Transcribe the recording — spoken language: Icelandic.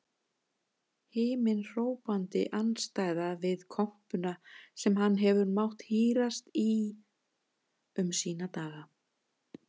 Himinhrópandi andstæða við kompuna sem hann hefur mátt hírast í um sína daga.